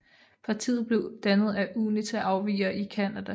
Partiet blev dannet af UNITA afvigere i Canada